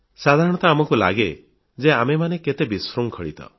ସାଧାରଣତଃ ଆମକୁ ଲାଗେ ଯେ ଆମେମାନେ କେତେ ବିଶୃଙ୍ଖଳିତ